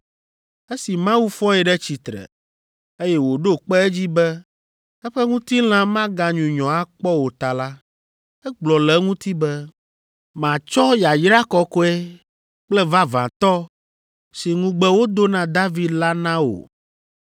Esi Mawu fɔe ɖe tsitsre, eye wòɖo kpe edzi be eƒe ŋutilã maganyunyɔ akpɔ o ta la, egblɔ le eŋuti be, “ ‘Matsɔ yayra kɔkɔe kple vavãtɔ si ŋugbe wodo na David la na wò.’